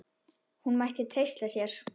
Hún mætti treysta sér.